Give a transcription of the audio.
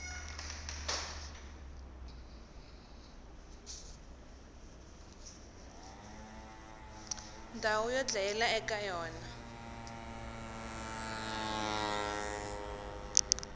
ndhawu yo dlayela eka yona